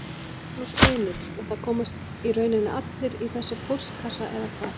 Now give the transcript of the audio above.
Magnús Hlynur: Og það komast í rauninni allir í þessa póstkassa eða hvað?